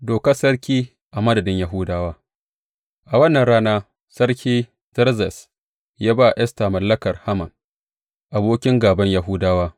Dokar sarki a madadin Yahudawa A wannan rana, Sarki Zerzes ya ba wa Esta mallakar Haman, abokin gāban Yahudawa.